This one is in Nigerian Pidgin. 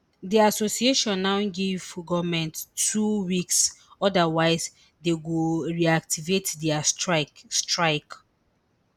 di association now give goment two weeks odawise dey go reactivate dia strike strike